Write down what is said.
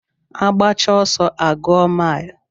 Agbacha ọsọ a gụọ mile